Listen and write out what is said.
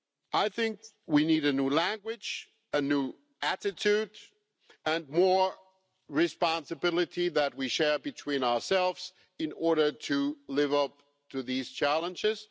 I think we need a new language, a new attitude and more responsibility that we share between ourselves in order to live up to these challenges.